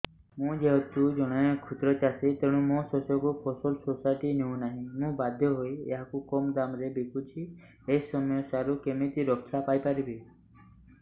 ମୁଁ ଯେହେତୁ ଜଣେ କ୍ଷୁଦ୍ର ଚାଷୀ ତେଣୁ ମୋ ଶସ୍ୟକୁ ଫସଲ ସୋସାଇଟି ନେଉ ନାହିଁ ମୁ ବାଧ୍ୟ ହୋଇ ଏହାକୁ କମ୍ ଦାମ୍ ରେ ବିକୁଛି ଏହି ସମସ୍ୟାରୁ କେମିତି ରକ୍ଷାପାଇ ପାରିବି